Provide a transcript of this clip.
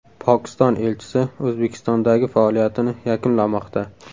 Pokiston elchisi O‘zbekistondagi faoliyatini yakunlamoqda.